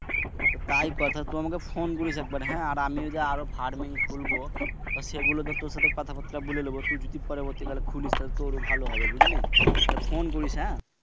আহ তাই কর। তুই আমাকে phone করিস একবার আমিও যে আরও ফার্মিং খুলব সেগুলোতো তুর সাথে কথা বার্তা বলে লিব। তুই যদি পরবর্তিকালে খুলিস তাহলে তুর ও ভালো হবে বুঝলি? তাইলে Phone করিস হ্যাঁ?